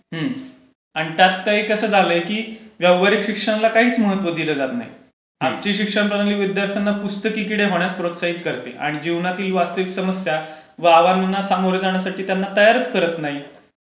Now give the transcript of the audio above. आणि त्यात कसं झालंय की व्यावहारिक शिक्षणला काहीच महत्त्व दिलं जात नाही. आजची शिक्षण प्रणाली विद्यार्थ्यांना पुस्तकी किडा होण्यास प्रोत्साहन देते. आणि जीवनातील वास्तविक समस्या वावाणणा सामोरे जाण्यास त्यांना तयारच करत नाही.